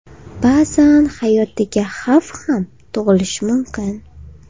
Ba’zan hayotiga xavf ham tug‘ilishi mumkin.